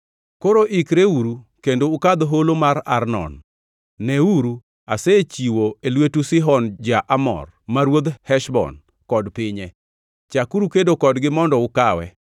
“Koro ikreuru kendo ukadh holo mar Arnon. Neuru, asechiwo e lwetu Sihon ja-Amor ma ruodh Heshbon kod pinye. Chakuru kedo kodgi mondo ukawe.